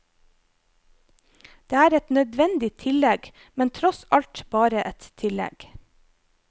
Det er et nødvendig tillegg, men tross alt bare et tillegg.